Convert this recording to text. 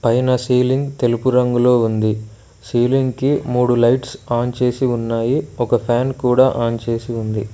పైన సీలింగ్ తెలుపు రంగులో ఉంది సీలింగ్ కి మూడు లైట్స్ ఆన్ చేసి ఉన్నాయి ఒక ఫ్యాన్ కూడా ఆన్ చేసి ఉంది.